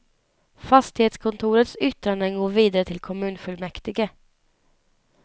Fastighetskontorets yttranden går vidare till kommunfullmäktige.